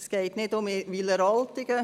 Es geht nicht um Wileroltigen.